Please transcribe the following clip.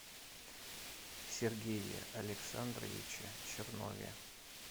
сергее александровиче чернове